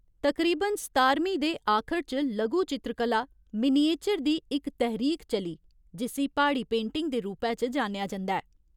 तकरीबन सतारमीं दे आखर च लघु चित्रकला, मिनीएचर दी इक तैह्‌रीक चली, जिस्सी प्हाड़ी पेंटिंग दे रूपै च जानेआ जंदा ऐ।